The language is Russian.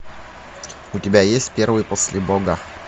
у тебя есть первый после бога